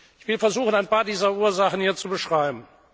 Ich will versuchen, ein paar dieser Ursachen hier zu beschreiben.